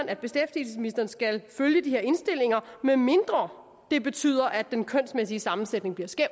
at beskæftigelsesministeren skal følge de her indstillinger medmindre det betyder at den kønsmæssige sammensætning bliver skæv